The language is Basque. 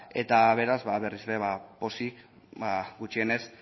eta beraz berriz ere pozik gutxienez